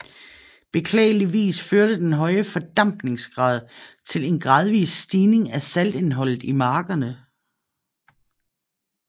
Beklageligvis førte den høje fordampningsgrad til en gradvis stigning af saltindholdet i markerne